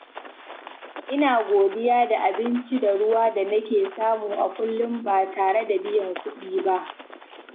Ina godiya da abinci da ruwa da nake samu a kullum ba tare da biyan kuɗi ba.